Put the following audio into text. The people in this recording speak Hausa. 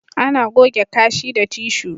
Ana goge kashi da tishu